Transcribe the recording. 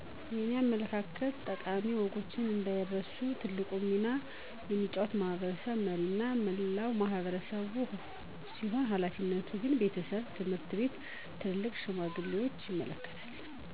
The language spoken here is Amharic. የኔ አመለካከት ጠቃሚ ወጎችንአንዳይረሱ ትልቁን ሚና የሚጫወተው የማሕበረሰብ መሪዎችና መላው ማሕበረሰብ ሲሆን ሀላፊነቱ ግን ቤተሰብ፣ ትምሕርት ቤት፣ ትልልቅ ሽማግሌዎችን ይመለከታል።